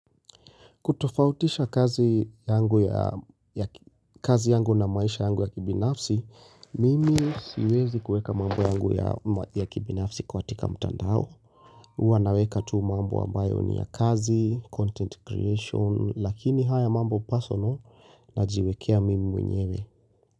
Kutofautisha kazi yangu na maisha yangu ya kibinafsi, mimi siwezi kueka mambo yangu ya kibinafsi kwatika mtandao. Uwa naweka tu mambo ambayo ni ya kazi, content creation, lakini haya mambo personal najiwekea mimi mwenyewe.